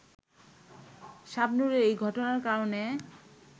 শাবনূরের এ ঘটনার কারণে